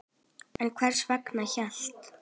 En hvers vegna hélt